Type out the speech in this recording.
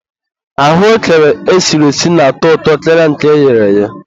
ahụekere esiri esi na-atọ ụtọ karịa nke eghere eghe.